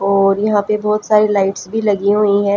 और यहाँ पे बहोत सारी लाइट्स भीं लगी हुई हैं।